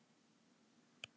Vilja rannsókn á ráðuneytum